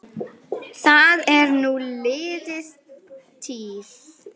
Það er nú liðin tíð.